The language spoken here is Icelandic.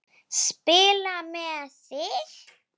Spila með þig?